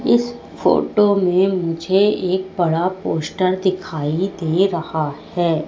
इस फोटो में मुझे एक बड़ा पोस्टर दिखाई दे रहा है।